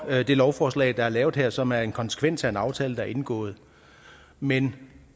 det lovforslag der er lavet her og som er en konsekvens af en aftale der er indgået men